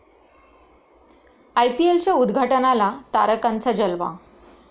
आयपीएलच्या उद्घाटनाला तारकांचा जलवा